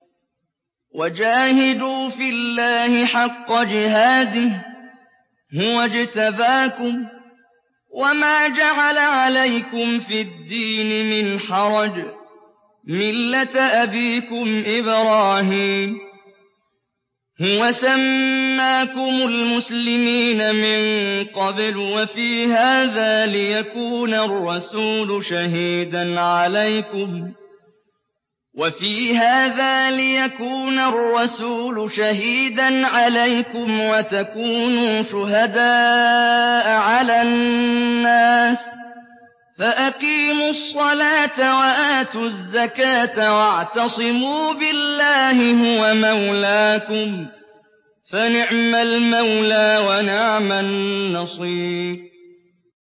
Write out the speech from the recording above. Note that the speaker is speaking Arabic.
وَجَاهِدُوا فِي اللَّهِ حَقَّ جِهَادِهِ ۚ هُوَ اجْتَبَاكُمْ وَمَا جَعَلَ عَلَيْكُمْ فِي الدِّينِ مِنْ حَرَجٍ ۚ مِّلَّةَ أَبِيكُمْ إِبْرَاهِيمَ ۚ هُوَ سَمَّاكُمُ الْمُسْلِمِينَ مِن قَبْلُ وَفِي هَٰذَا لِيَكُونَ الرَّسُولُ شَهِيدًا عَلَيْكُمْ وَتَكُونُوا شُهَدَاءَ عَلَى النَّاسِ ۚ فَأَقِيمُوا الصَّلَاةَ وَآتُوا الزَّكَاةَ وَاعْتَصِمُوا بِاللَّهِ هُوَ مَوْلَاكُمْ ۖ فَنِعْمَ الْمَوْلَىٰ وَنِعْمَ النَّصِيرُ